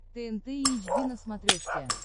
тнт эйч ди на смотрешке